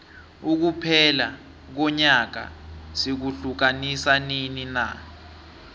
ukuphela konyaka sikuhiukanisa nini na